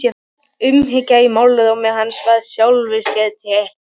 Umhyggjan í málrómi hans var í sjálfu sér teikn.